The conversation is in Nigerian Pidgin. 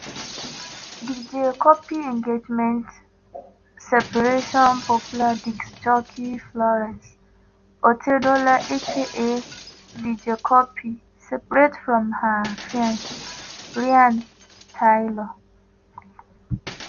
dj cuppy engagement/ separation popular disc jockey florence otedola aka dj cuppy separate from her fiancé ryan taylor.